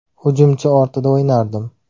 Hujumchi ortida o‘ynardim.